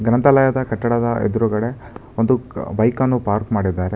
ಗ್ರಂಥಾಲಯದ ಕಟ್ಟಡದ ಎದ್ರುಗಡೆ ಒಂದು ಬೈಕ್ ಅನ್ನು ಪಾರ್ಕ್ ಮಾಡಿದ್ದಾರೆ.